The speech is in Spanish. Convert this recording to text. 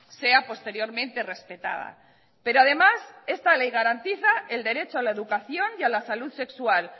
sea posteriormente respetada pero además esta ley garantiza el derecho a la educación y a la salud sexual